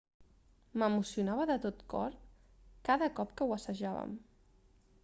m'emocionava de tot cor cada cop que ho assajàvem